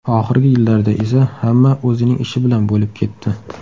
Oxirgi yillarda esa hamma o‘zining ishi bilan bo‘lib ketdi.